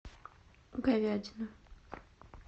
говядина